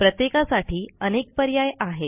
प्रत्येकासाठी अनेक पर्याय आहेत